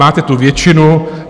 Máte tu většinu.